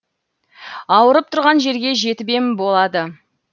ауырып тұрған жерге жетіп ем болады